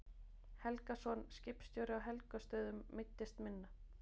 Helgason, skipstjóri á Helgustöðum, meiddist minna.